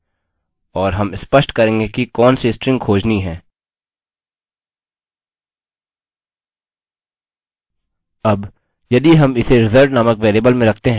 और हम स्पष्ट करेंगे कि कौनसी स्ट्रिंग खोजनी है अब यदि हम इसे रिज़ल्ट नामक वेरिएबल में रखते हैं तो यह पूर्णांक देगा